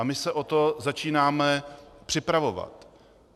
A my se o to začínáme připravovat.